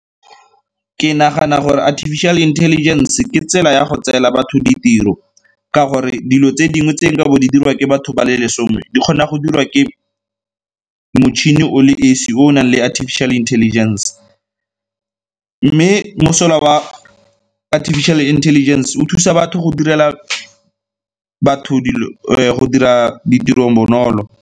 Ke nagana gore Artificial Intelligence ke tsela ya go tseela batho ditiro ka gore dilo tse dingwe tse nkabo di dirwa ke batho ba le lesome di kgona go dirwa ke motšhini o le esi o o nang le Artificial Intelligence. Mme mosola wa Artificial Intelligence o thusa batho go direla go dira ditiro bonolo.